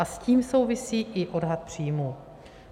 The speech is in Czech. A s tím souvisí i odhad příjmů.